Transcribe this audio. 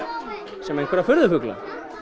sem einhverja furðufugla